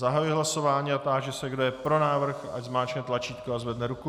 Zahajuji hlasování a táži se, kdo je pro návrh, ať zmáčkne tlačítko a zvedne ruku.